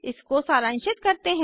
इसको सरांशित करते हैं